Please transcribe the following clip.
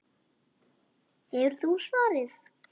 Hefur þú svarið?